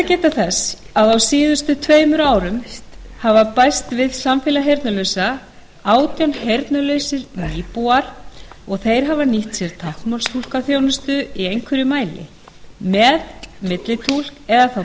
að geta þess að á síðustu tveimur árum hafa bæst við samfélag heyrnarlausra átján heyrnarlausir nýbúar og þeir hafa nýtt sér táknmálstúlkaþjónustu í einhverjum mæli með millitúlk eða þá